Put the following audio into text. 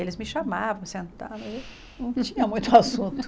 Eles me chamavam, sentavam, não tinha muito assunto.